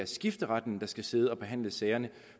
skifteretten der skal sidde og behandle sagerne